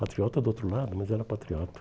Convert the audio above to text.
Patriota do outro lado, mas era patriota.